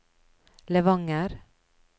Levanger